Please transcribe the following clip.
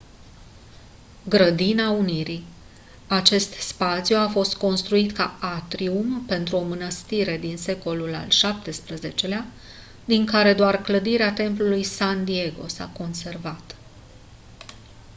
grădina unirii acest spațiu a fost construit ca atrium pentru o mănăstire din secolul al xvii-lea din care doar clădirea templului san diego s-a conservat